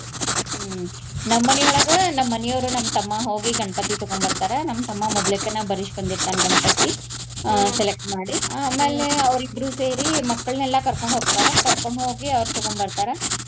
ಹ್ಮ್ ನಮ್ಮ್ ಮನಿಯೊಳಗ ನಮ್ಮ್ ಮನಿಯವ್ರು ನಮ್ಮ ತಮ್ಮಾ ಹೋಗಿ ಗಣಪತಿ ತಗೊಂಡ್ ಬರ್ತಾರ. ನಮ್ಮ ತಮ್ಮಾ ಮೊದ್ಲೇಕನ ಬರ್ಸಿ ಬಂದಿರ್ತಾನ ಗಣಪತಿ select ಮಾಡಿ. ಅವ್ರಿಬ್ರು ಸೇರಿ ಮಕ್ಕಳ್ನೆಲ್ಲಾ ಕರ್ಕೊಂಡ್ ಹೋಗ್ತಾರ. ಕರ್ಕೊಂಡ್ ಹೋಗಿ ಅವ್ರ್ ತಗೊಂಡ್ ಬರ್ತಾರ.